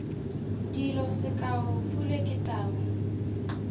dilo sekao pule ke tau